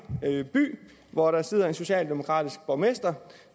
by hvor der sidder en socialdemokratisk borgmester